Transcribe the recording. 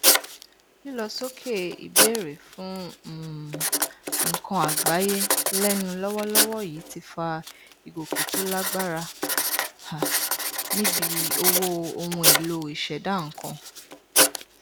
lílọ sókè ìbéèrè fún um nnkan àgbáyé lẹnu lọwọlọwọ yìí ti fa ìgòkè tó lágbára um níbi owó ohunèlò ìṣẹdá nnkan